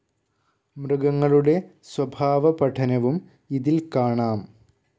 മൃഗങ്ങളുടെ സ്വഭാവ പഠനവും ഇതിൽ കാണാം.